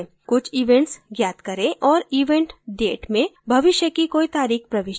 कुछ events ज्ञात करें और event date में भविष्य की कोई तारीख प्रविष्ट करें